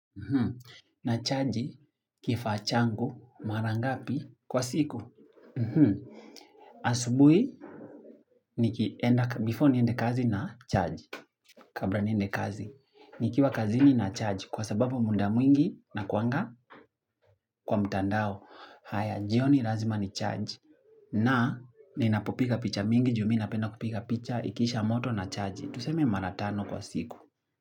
Nachaji kifaa changu mara ngapi kwa siku? Asubuhi, before niende kazi nachaji Kabla niende kazi, nikiwa kazini nachaji kwa sababu muda mwingi nakuanga kwa mtandao haya, jioni lazima nichaji, na ninapopiga picha mingi, juu mimi napenda kupiga picha, ikiisha moto nachaji, tuseme mara tano kwa siku.